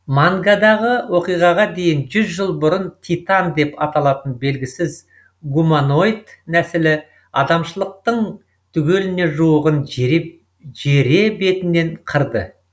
мангадағы оқиғаға дейін жүз жыл бұрын титан деп аталатын белгісіз гуманоид нәсілі адамшылықтың түгеліне жуығын жере бетінен қырды